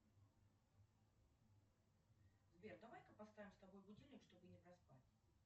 сбер давай ка поставим с тобой будильник чтобы не проспать